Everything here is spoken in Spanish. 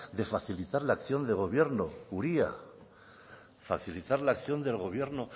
de facilitar la acción de gobierno uria facilitar la acción del gobierno